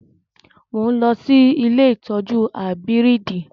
Mo ń lọ sí ilé ìtọ́jú áíbírìdì